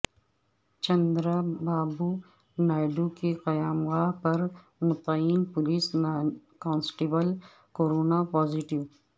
چندرا بابو نائیڈو کی قیامگاہ پر متعین پولیس کانسٹبیل کورونا پازیٹیو